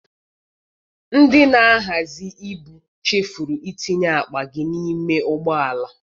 Ndị na-ahazị ibu chefuru itinye akpa gị n'ime ụgbọala.